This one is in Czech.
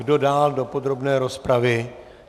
Kdo dál do podrobné rozpravy?